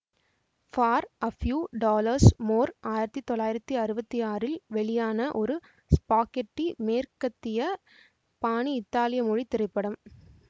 for a few dollars more ஆயிரத்தி தொள்ளாயிரத்தி அறுபத்தி ஆறில் வெளியான ஒரு ஸ்பாகெட்டி மேற்கத்தியப் பாணி இத்தாலிய மொழி திரைப்படம்